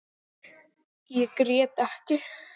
Ég grét ekki.